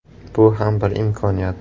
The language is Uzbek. Bu ham bir imkoniyat.